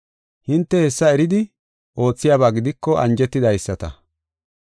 Hinte hessa eridi oothiyaba gidiko anjetidaysata.